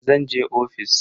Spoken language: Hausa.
Zan je ofis.